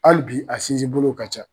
Hali bi a sinsin bolo ka ca